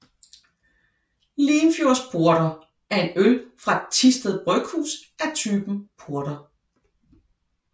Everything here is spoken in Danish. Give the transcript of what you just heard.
LimfjordsPorter er en øl fra Thisted Bryghus af typen porter